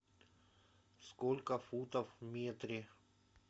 сколько футов в метре